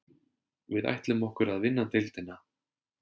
Við ætlum okkur að vinna deildina